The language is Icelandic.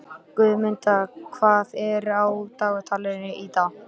Guðmunda, hvað er á dagatalinu í dag?